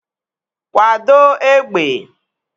Kwado égbè!